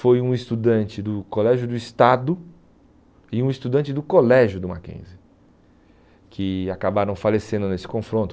Foi um estudante do Colégio do Estado e um estudante do Colégio do Mackenzie, que acabaram falecendo nesse confronto.